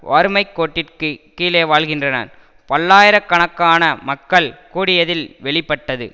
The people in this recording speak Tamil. வறுமை கோட்டிற்கு கீழே வாழ்கின்றனர் பல்லாயிர கணக்கான மக்கள் கூடியதில் வெளி பட்டது